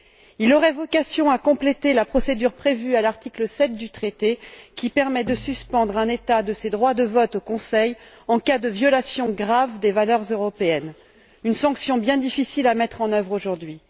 Il aurait vocation à compléter la procédure prévue à l'article 7 du traité, qui permet de suspendre le droit de vote d'un État au Conseil en cas de violation grave des valeurs européennes une sanction bien difficile à mettre en œuvre aujourd'hui.